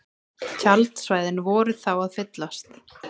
Tjaldsvæðin voru þá að fyllast